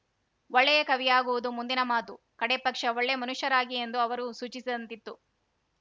ಒಳ್ಳೆಯ ಕವಿಯಾಗುವುದು ಮುಂದಿನ ಮಾತುಕಡೇಪಕ್ಷ ಒಳ್ಳೇ ಮನುಷ್ಯರಾಗಿ ಎಂದು ಅವರು ಸೂಚಿಸಿದಂತಿತ್ತು